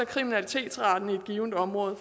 kriminalitetsraten i et givent område